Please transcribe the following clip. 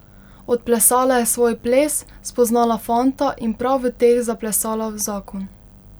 Odplesala je svoj ples, spoznala fanta in prav v teh zaplesala v zakon.